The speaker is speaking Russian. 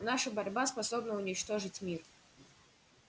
наша борьба способна уничтожить мир